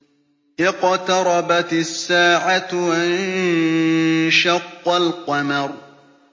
اقْتَرَبَتِ السَّاعَةُ وَانشَقَّ الْقَمَرُ